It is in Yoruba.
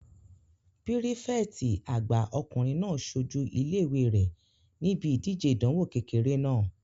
Pírífẹ̀tì àgbà ọkùnrin náà sojú ilé-ìwé rẹ̀ níbi ìdíje ìdánwò kékeré náà